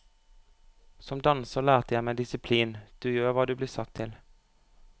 Som danser lærte jeg meg disiplin, du gjør hva du blir satt til.